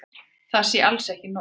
Það sé alls ekki nóg.